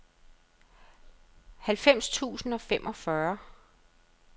halvfems tusind og femogfyrre